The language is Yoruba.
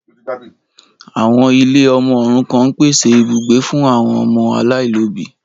Àwọn ilé ọmọ òrukàn ń pèsè ibùgbé fún àwọn ọmọ aláìlóbìí.